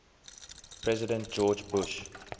president george bush